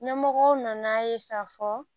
Ɲɛmɔgɔw nan'a ye k'a fɔ